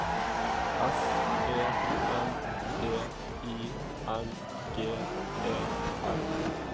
S E N D I N G E R